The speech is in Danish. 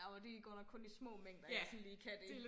Det godt nok kun i små mængder jeg sådan lige kan det